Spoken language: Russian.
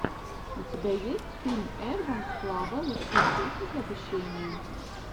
у тебя есть фильм эдванс клаба лучшие техники обучения